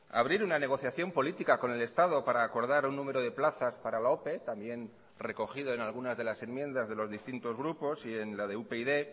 abrir una negociación política con el estado para acordar un número de plazas para la ope también recogido en algunas de las enmiendas de los distintos grupos y en la de upyd